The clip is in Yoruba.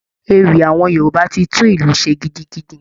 Ewì awọn Yorùbá ti tún ìlú ṣe gidigidi.